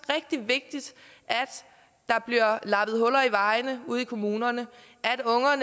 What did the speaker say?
rigtig vigtigt at der bliver lappet huller i vejene ude i kommunerne